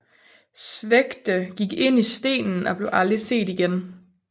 Svegde gik ind i stenen og blev aldrig set igen